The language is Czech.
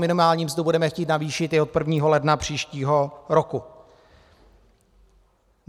Minimální mzdu budeme chtít navýšit i od 1. ledna příštího roku.